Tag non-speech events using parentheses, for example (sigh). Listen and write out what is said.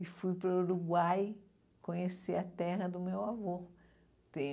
E fui para o Uruguai conhecer a terra do meu avô. (unintelligible)